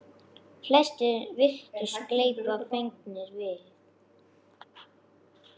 Flestir virtust gleypa fegnir við.